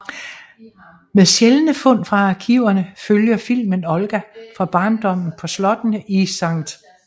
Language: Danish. Med sjældne fund fra arkiverne følger filmen Olga fra barndommen på slottene i Skt